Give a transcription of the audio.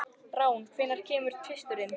Rán, hvenær kemur tvisturinn?